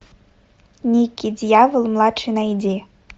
никки дьявол младший найди